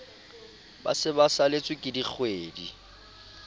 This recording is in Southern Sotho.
ba se ba saletsweke dikgwedi